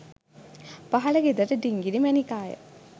පහළ ගෙදර ඩිංගිරි මැණිකාය.